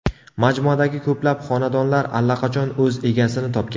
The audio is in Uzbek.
Majmuadagi ko‘plab xonadonlar allaqachon o‘z egasini topgan.